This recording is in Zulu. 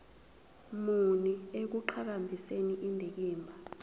muni ekuqhakambiseni indikimba